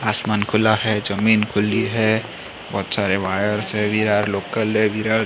आसमान खुला है जमीन खुली है बहुत सारे वायर्स है विरा लोकल है--